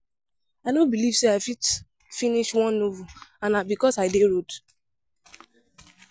I no believe say I fit finish one novel and na because I dey road